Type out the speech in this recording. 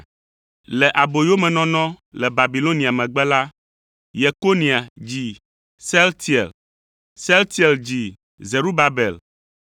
Le aboyomenɔnɔ le Babilonia megbe la, Yekonia dzi Sealtiel, Sealtiel dzi Zerubabel,